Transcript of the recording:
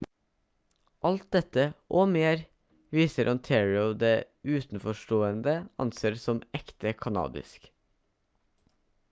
alt dette og mer viser ontario det utenforstående anser som ekte kanadisk